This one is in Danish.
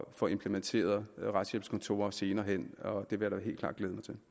få implementeret retshjælpskontorer senere hen og det vil jeg da helt